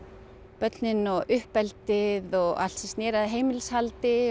börnin og uppeldið og allt sem snéri að heimilishaldi